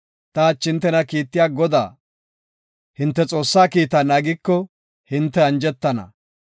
Ta hachi hintena kiittiya Godaa, hinte Xoossaa kiita naagiko, hinte anjetana.